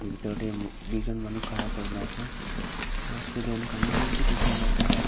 bithor te duijon manu khara kori kina ase aru student khan bishi dekhi kina ase.